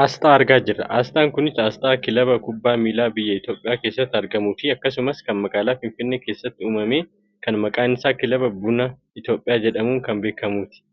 Aasxaa argaa jirra. Aasxaan kunis aasxaa kilaba kubbaa miilaa biyya Itoopiyaa keessatti argamuufi akkasumas kan magaalaa Finfinnee keessatti uummame kan maqaan isaa kilaba buna Itoopiyaa jedhamuun kan beekkamuuti.